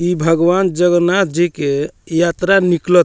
ई भगवान जगन्नाथ जी के यात्रा निकलत --